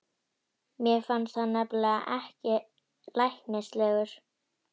Mér fannst hann nefnilega ekkert læknislegur.